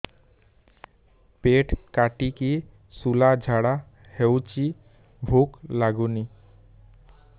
ପେଟ କାଟିକି ଶୂଳା ଝାଡ଼ା ହଉଚି ଭୁକ ଲାଗୁନି